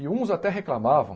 E uns até reclamavam.